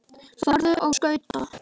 Farðu á skauta.